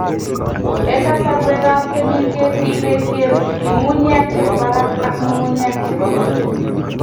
eng' kasarwekap temisiet ,ibesyen ng'ung'unyek che bo barak ak ng'ung'unyek che bo ng'weny